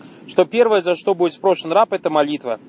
что первое за что будет спрошен раб это молитва